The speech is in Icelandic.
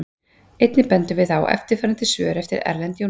Einnig bendum við á eftirfarandi svör eftir Erlend Jónsson: